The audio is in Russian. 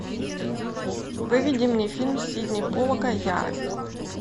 выведи мне фильм сидни поллака ярость